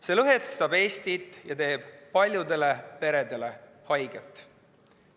See lõhestab Eestit ja teeb paljudele peredele haiget.